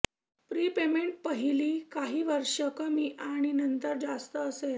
prepayment पहीली काही वर्षे कमी आणि नंतर जास्त असेल